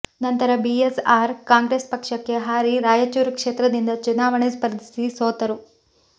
ನಂತರ B S R Congress ಪಕ್ಷಕ್ಕೆ ಹಾರಿ ರಾಯಚೂರು ಕ್ಷೇತ್ರದಿಂದ ಚುನಾವಣೆ ಸ್ಪರ್ಧಿಸಿ ಸೋತರು